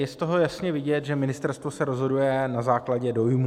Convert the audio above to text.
Je z toho jasně vidět, že ministerstvo se rozhoduje na základě dojmů.